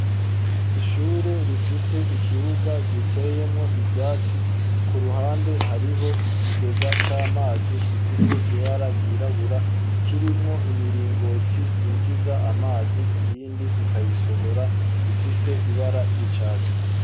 Ishure rifise ikibuga giteyemwo ivyatsi ku ruhande hariho ikigega c'amazi gifise ibara ryirabura kirimwo imiringoti yinjiza amazi iyindi ikayasohora ifise ibara ry'icatsi.